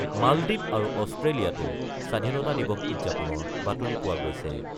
মালদ্বীপ আৰু অষ্ট্ৰেলিয়াতো স্বাধীনতা দিৱস উদযাপনৰ বাতৰি পোৱা গৈছে।